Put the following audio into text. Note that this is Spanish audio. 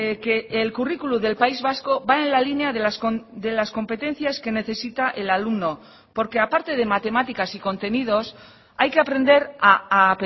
que el curriculum del país vasco va en la línea de las competencias que necesita el alumno porque aparte de matemáticas y contenidos hay que aprender a